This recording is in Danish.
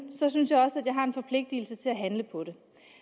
synes jeg også at jeg har en forpligtelse til at handle på det